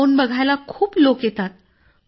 drone बघायला खूप लोक येतात